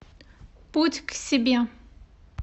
путь к себе